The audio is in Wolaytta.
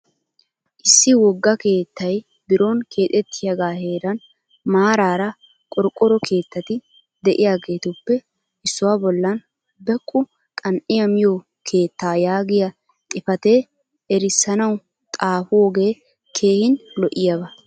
Issi wogga keettay biron keexettiyaagaa heeran maaraara qorqoro keettati diyageetuppe issuwa bollan beqqu qan'iya miyo keetta yaagiya xifatee erissanawu xaafoogee keehin lo'iyaaba.